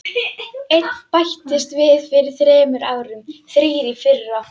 Einn bættist við fyrir þremur árum, þrír í fyrra.